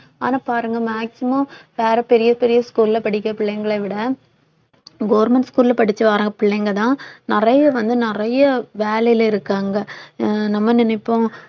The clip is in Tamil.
ஆனா பாருங்க maximum வேற பெரிய பெரிய school ல படிக்கிற பிள்ளைங்களை விட government school ல படிச்சு வர பிள்ளைங்கதான் நிறைய வந்து நிறைய வேலையில இருக்காங்க அஹ் நம்ம நினைப்போம்